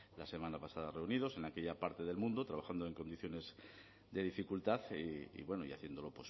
la semana pasada reunidos en aquella parte del mundo y haciéndolo